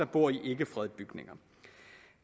bor i fredede bygninger